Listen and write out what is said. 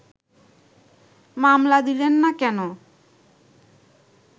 মামলা দিলেন না কেন